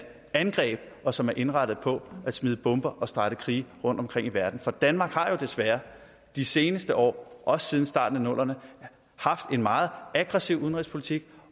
angreb og som er indrettet på at smide bomber og starte krige rundtomkring i verden for danmark har jo desværre de seneste år også siden starten af nullerne haft en meget aggressiv udenrigspolitik